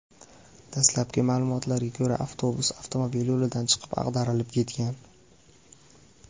Dastlabki ma’lumotlarga ko‘ra, avtobus avtomobil yo‘lidan chiqib, ag‘darilib ketgan.